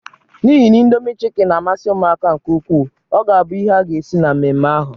N'ihi na Indomi chịkin na-amasị ụmụaka nke ukwuu, ọ ga-abu ihe a ga-esi na mmemme ahụ.